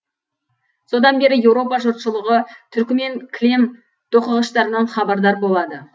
содан бері еуропа жұртшылығы түркімен кілем тоқығыштарынан хабардар болады